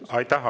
Aitäh!